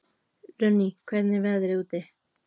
Runný, hvernig er veðrið úti?